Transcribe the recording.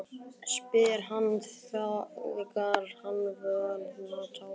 spyr hann þegar hann hefur náð áttum aftur.